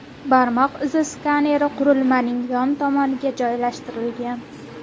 Barmoq izi skaneri qurilmaning yon tomoniga joylashtirilgan.